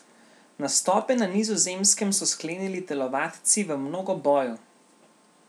Nastope na Nizozemskem so sklenili telovadci v mnogoboju.